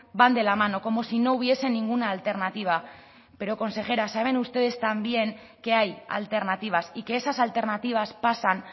van de la mano como si no hubiese ninguna alternativa pero consejera saben ustedes también que hay alternativas y que esas alternativas pasan